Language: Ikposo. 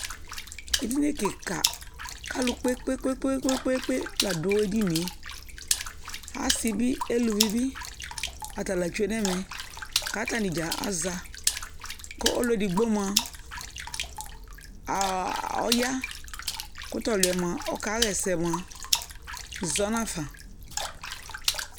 Edini kɩka k'alʋ kpe kpe kpe kpe kpe la dʋ ɛdini ye Asɩ bɩ, eluvi bɩ atsla tsue n'ɛmɛ k'atsnidzaa axa Kʋ ɔlʋ edigbo mʋa ɔya, kʋ t'ɔlʋ yɛ mʋa ɔkaɣɛsɛ mʋa zɔnafa